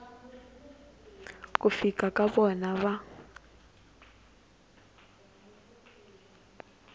ku fika ka vona va